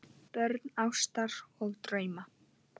Börn ástar og drauma